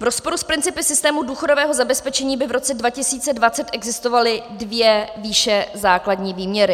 V rozporu s principy systému důchodového zabezpečení by v roce 2020 existovaly dvě výše základní výměry.